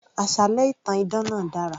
Àsálẹ́ ìtàn idán náà dára